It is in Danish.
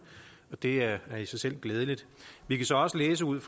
og det er i sig selv glædeligt vi kan så også læse ud